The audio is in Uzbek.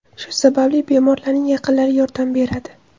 Shu sababli bemorlarning yaqinlari yordam beradi.